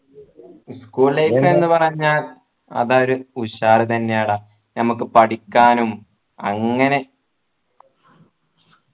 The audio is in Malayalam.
school life എന്ന് പറഞ്ഞാൽ അതൊരു ഉഷാർ തന്നെയാടാ ഞമ്മക്ക് പഠിക്കാനും അങ്ങനെ